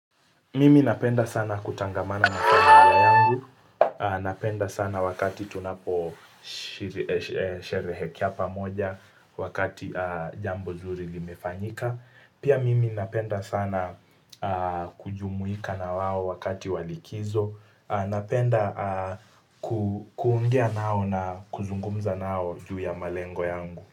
Mimi napenda sana kutangamana na kiwango yangu, napenda sana wakati tunapo sherehekea pamoja wakati jambo zuri limefanyika. Pia mimi napenda sana kujumuika na wao wakati wa likizo, napenda kuongea nao na kuzungumza nao juu ya malengo yangu.